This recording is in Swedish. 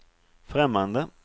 främmande